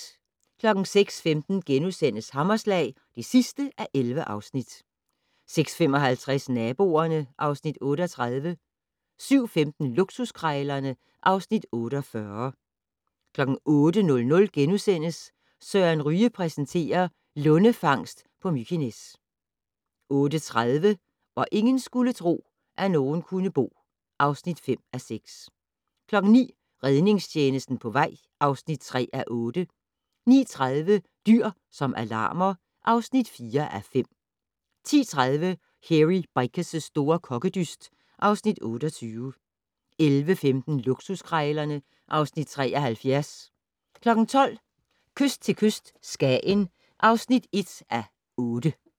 06:15: Hammerslag (11:11)* 06:55: Naboerne (Afs. 38) 07:15: Luksuskrejlerne (Afs. 48) 08:00: Søren Ryge præsenterer: Lundefangst på Mykines * 08:30: Hvor ingen skulle tro, at nogen kunne bo (5:6) 09:00: Redningstjenesten på vej (3:8) 09:30: Dyr som alarmer (4:5) 10:30: Hairy Bikers' store kokkedyst (Afs. 28) 11:15: Luksuskrejlerne (Afs. 73) 12:00: Kyst til kyst - Skagen (1:8)